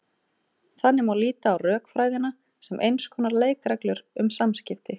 Þannig má líta á rökfræðina sem eins konar leikreglur um samskipti.